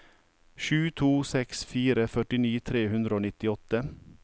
sju to seks fire førtini tre hundre og nittiåtte